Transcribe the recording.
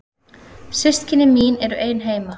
Systkini mín eru ein heima.